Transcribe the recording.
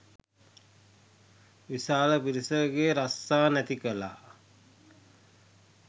විශාල පිරිසකගේ රස්සා නැති කළා.